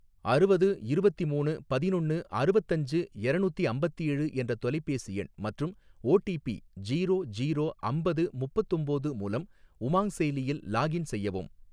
அறுவது இருவத்திமூணு பதினொன்னு அறுவத்தஞ்சு எரநூத்தி அம்பத்தேழு என்ற தொலைபேசி எண் மற்றும் O T P zero zero அம்பது முப்பத்தொம்போது மூலம் உமாங் செயலியில் லாக்இன் செய்யவும்.